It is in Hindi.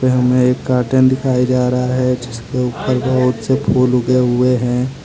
यह मे एक गार्डन दिखाई जा रहा है जिसके ऊपर बहुत से फूल उगे हुए हैं।